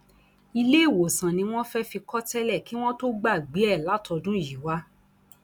iléewòsàn ni wọn fẹẹ fi kọ tẹlẹ kí wọn tóó gbàgbé ẹ látọdún yìí wá